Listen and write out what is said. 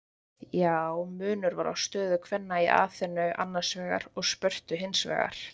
Já, munur var á stöðu kvenna í Aþenu annars vegar og Spörtu hins vegar.